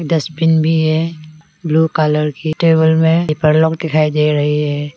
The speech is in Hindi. डस्टबिन भी है ब्लू कलर की टेबल मे दिखाई दे रही है।